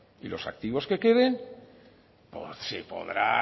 y los activos que queden se podrá